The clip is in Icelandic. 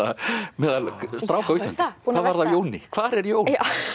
meðal stráka á Íslandi hvað varð af Jóni hvar er Jón